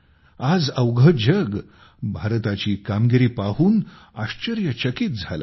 आज अवघे जग भारताची कामगिरी पाहून आश्चर्यचकित झाले आहे